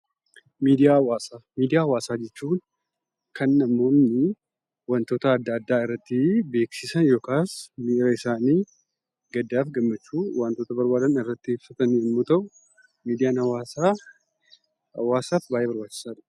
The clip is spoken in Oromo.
Miidiyaa hawaasaa miidiyaa hawaasaa jechuun kan namoonni wantoota adda addaa irratti beeksisan yookaas miira isaanii gaddaaf gammachuu wantoota barbaadan irratti ibsatan yommuu ta'u miidiyaan hawaasaa hawaasaaf baayyee barbaachisaadha.